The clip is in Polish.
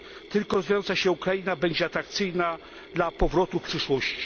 Tylko rozwijająca się Ukraina będzie atrakcyjna dla powrotu w przyszłości.